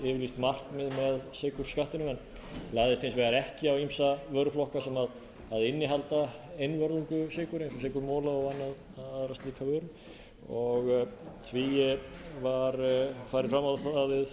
yfirlýst markmið með sykurskattinum en lagðist hins vegar ekki á ýmsa vöruflokka sem innihalda einvörðungu sykur eins og sykurmola og aðra slíka vöru því var farið fram á það